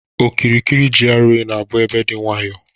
Okirikiri GRA na-abụ ebe dị nwayọ